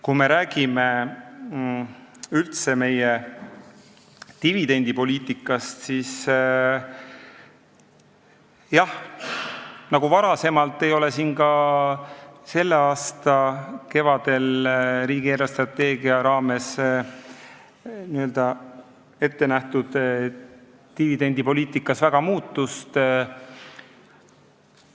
Kui me räägime üldse meie dividendipoliitikast, siis jah, nagu varem, nii ei toimunud ka selle aasta kevadel riigi eelarvestrateegias ettenähtud dividendipoliitikas väga suurt muutust.